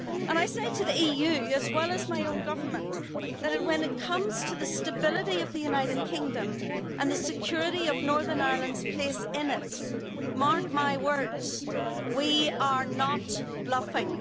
I say to the EU as well as my own government, that when it comes to the stability of the United Kingdom and the security of northern Ireland's place in it, mark my words, we are not bluffing.